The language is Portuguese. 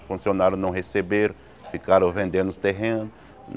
Os funcionários não receberam, ficaram vendendo os terrenos.